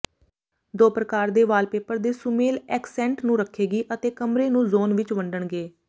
ਦੋ ਪ੍ਰਕਾਰ ਦੇ ਵਾਲਪੇਪਰ ਦੇ ਸੁਮੇਲ ਐਕਸੈਂਟ ਨੂੰ ਰੱਖੇਗੀ ਅਤੇ ਕਮਰੇ ਨੂੰ ਜ਼ੋਨ ਵਿਚ ਵੰਡਣਗੇ